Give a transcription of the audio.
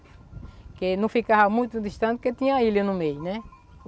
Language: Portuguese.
Que não ficava muito distante, porque tinha a ilha no meio, né?